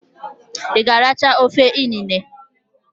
I g'aracha ofe inene?